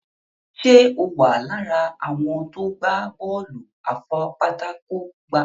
Ṣe o wá lára àwọn tó gbà Bọ́ọ̀lù afipátákó gbá?